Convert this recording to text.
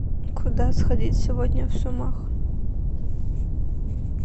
куда сходить сегодня в сумах